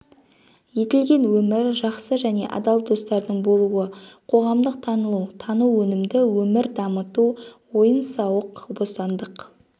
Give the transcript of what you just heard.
етілген өмір жақсы және адал достардың болуы қоғамдық танылу тану өнімді өмір дамыту ойын-сауық бостандық